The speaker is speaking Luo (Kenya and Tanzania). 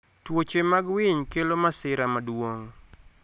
Tuoche mag winy kelo masira maduong.